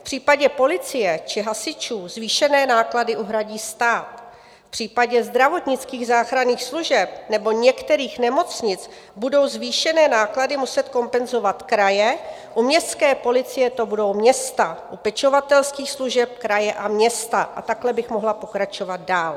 V případě policie či hasičů zvýšené náklady uhradí stát, v případě zdravotnických záchranných služeb nebo některých nemocnic budou zvýšené náklady muset kompenzovat kraje, u městské policie to budou města, u pečovatelských služeb kraje a města a takhle bych mohla pokračovat dál.